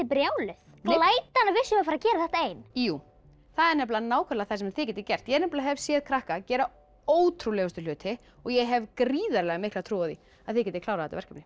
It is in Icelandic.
brjáluð glætan að við séum að fara að gera þetta ein jú það er nákvæmlega það sem þið getið gert ég hef séð krakka gera ótrúlegustu hluti og ég hef gríðarlega mikla trú á því að þið getið klárað þetta verkefni